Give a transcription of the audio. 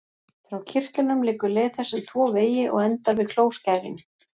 Frá kirtlunum liggur leið þess um tvo vegi og endar við klóskærin.